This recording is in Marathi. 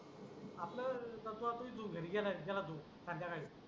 आपल सत्व ऑफिस ऊन घरी गेला रे गेला तू चालत्या गाड